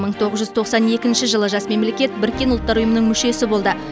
мың тоғыз жүз тоқсан екінші жылы жас мемлекет біріккен ұлттар ұйымының мүшесі болды